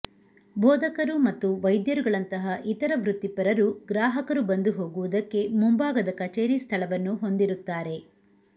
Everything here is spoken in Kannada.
ಬೋಧಕರು ಮತ್ತು ವೈದ್ಯರುಗಳಂತಹ ಇತರ ವೃತ್ತಿಪರರು ಗ್ರಾಹಕರು ಬಂದು ಹೋಗುವುದಕ್ಕೆ ಮುಂಭಾಗದ ಕಚೇರಿ ಸ್ಥಳವನ್ನು ಹೊಂದಿರುತ್ತಾರೆ